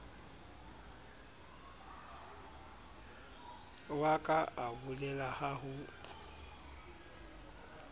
wa ka abolela ha ho